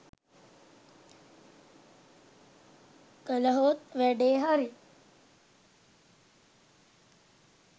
කලහොත් වැඩේ හරි.